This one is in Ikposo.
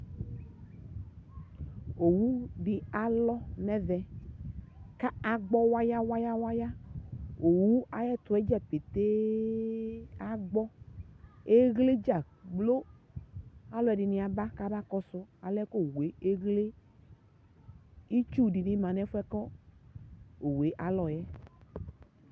Owu alɔ nu ɛvɛ ku agbɔ waya waya ɣowu ayu ɛtuɛ dza agbɔ eɣledza gblo aluɛdini aba kɔsu alɛna yɛ owu teɣle itsu di ma nu ɛfuɛ ku owu la lɔ yɛ